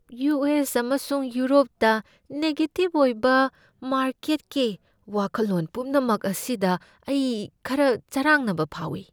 U. S. ꯑꯃꯁꯨꯡ ꯌꯨꯔꯣꯞꯇ ꯅꯦꯒꯦꯖꯤꯕ ꯑꯣꯏꯕ ꯃꯥꯔꯀꯦꯠꯀꯤ ꯋꯥꯈꯜꯂꯣꯟ ꯄꯨꯝꯅꯃꯛ ꯑꯁꯤꯗ ꯑꯩ ꯈꯔ ꯆꯔꯥꯡꯅꯕ ꯐꯥꯎꯏ꯫